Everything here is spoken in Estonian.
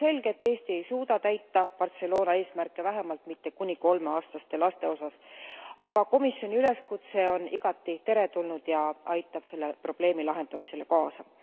On selge, et Eesti ei suuda täita Barcelona eesmärke, vähemalt mitte kuni kolmeaastaste laste osas, aga komisjoni üleskutse on igati teretulnud ja aitab selle probleemi lahendamisele kaasa.